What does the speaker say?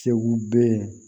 Segu den